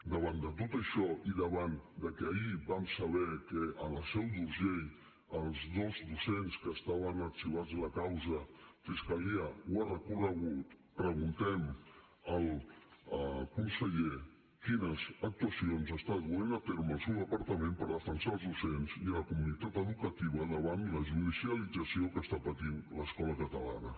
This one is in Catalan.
davant de tot això i davant de que ahir vam saber que a la seu d’urgell els dos docents que estaven arxivats en la causa fiscalia ho ha recorregut preguntem al conseller quines actuacions està duent a terme el seu departament per defensar els docents i la comunitat educativa davant la judicialització que està patint l’escola catalana